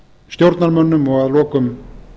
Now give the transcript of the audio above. stjórnarmönnum og að lokum